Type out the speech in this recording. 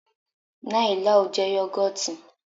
Nai láò jẹ́ yọ́gọ́tì.